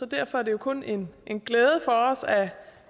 derfor er det jo kun en en glæde for os at